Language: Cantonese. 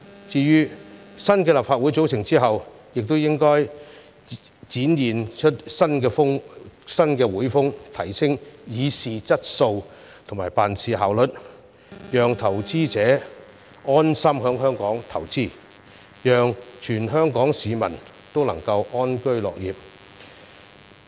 至於新的立法會組成之後也應該展現出新會風，提升議事質素及辦事效率，讓投資者安心在香港投資，讓全港市民都能夠安居樂業。